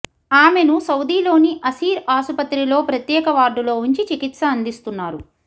ఆమెను సౌదీలోని అసీర్ ఆసుపత్రిలో ప్రత్యేక వార్డులో ఉంచి చికిత్స అందిస్తున్నారు